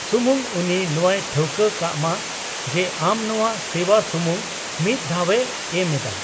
ᱥᱩᱢᱩᱝ ᱩᱱᱤ ᱱᱚᱣᱟᱭ ᱴᱷᱟᱹᱣᱠᱟᱹ ᱠᱟᱜ ᱢᱟ ᱡᱮ ᱟᱢ ᱱᱚᱣᱟ ᱥᱮᱣᱟ ᱥᱩᱢᱩᱝ ᱢᱤᱫ ᱫᱷᱟᱣ ᱮ ᱮᱢ ᱮᱫᱟ ᱾